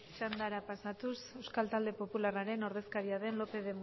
txandara pasatu euskal talde popularraren ordezkaria den